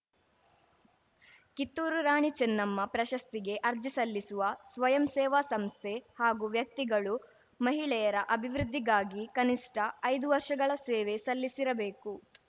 ಕಿತ್ತೂರು ರಾಣಿ ಚೆನ್ನಮ್ಮ ಪ್ರಶಸ್ತಿಗೆ ಅರ್ಜಿ ಸಲ್ಲಿಸುವ ಸ್ವಯಂ ಸೇವಾ ಸಂಸ್ಥೆ ಹಾಗೂ ವ್ಯಕ್ತಿಗಳು ಮಹಿಳೆಯರ ಅಭಿವೃದ್ಧಿಗಾಗಿ ಕನಿಷ್ಠ ಐದು ವರ್ಷಗಳ ಸೇವೆ ಸಲ್ಲಿಸಿರಬೇಕು